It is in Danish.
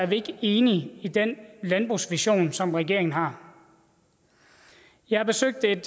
vi ikke enige i den landbrugsvision som regeringen har jeg besøgte